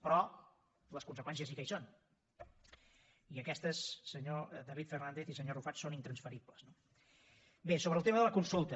però les conseqüències sí que hi són i aquestes senyor david fernàndez i senyor arrufat són intransferibles no bé sobre el tema de la consulta